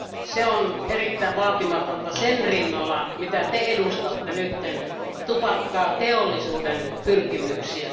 Se on erittäin vaatimatonta sen rinnalla, mitä Te edustatte nyt, tupakkateollisuuden pyrkimyksiä.